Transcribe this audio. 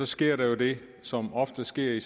sker der jo det som ofte sker i